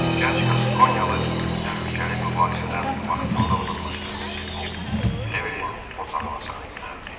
Gənc Qaskonyalı bu təhlükəli mübahisədən vaxtında uzaqlaşdığına sevinib Trevilin otağına sarı yönəldi.